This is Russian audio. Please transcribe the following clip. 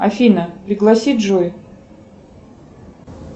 афина пригласи джой